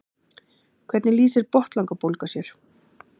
hvernig lýsir botnlangabólga sér